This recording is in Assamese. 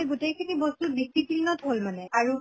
গোটেই খিনি বস্তু discipline ত হʼল মানে আৰু